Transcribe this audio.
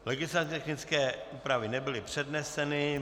Legislativně technické úpravy nebyly předneseny.